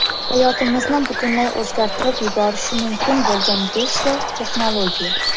Hayotimizni butunlay o‘zgartirib yuborishi mumkin bo‘lgan beshta texnologiya.